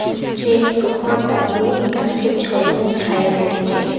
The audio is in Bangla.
সূর্যের প্রখর তাপে গাছের ঝলক ও ছায়া পড়েছে।